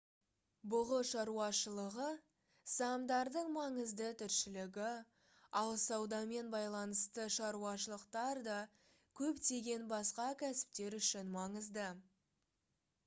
бұғы шаруашылығы саамдардың маңызды тіршілігі ал саудамен байланысты шаруашылықтар да көптеген басқа кәсіптер үшін маңызды